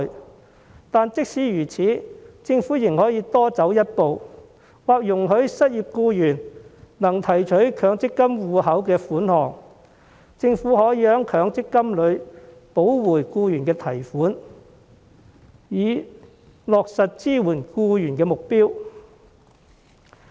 可是，即使如此，政府仍可以多走一步，容許失業僱員提取強積金戶口的款項，並由政府補回僱員從強積金戶口提取的款項，以落實支援僱員的目標。